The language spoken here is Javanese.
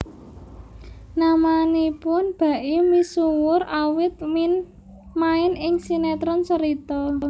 Namanipun Baim misuwur awit main ing sinetron Cerita